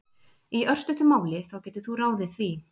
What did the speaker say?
Í örstuttu máli þá getur þú ráðið því!